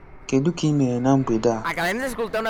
Kedu ka ị mere na mgbede a?